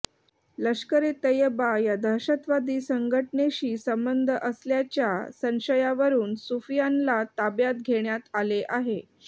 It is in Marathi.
लष्करे तैयबा या दहशतवादी संघटनेशी संबंध असल्याच्या संशयावरून सुफियानला ताब्यात घेण्यात आले आहे